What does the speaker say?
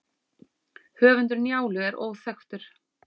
höfundur njálu er óþekktur